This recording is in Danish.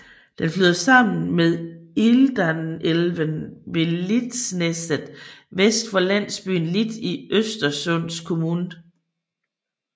Den flyder sammen med Indalsälven ved Litsnäset vest for landsbyen Lit i Östersunds kommun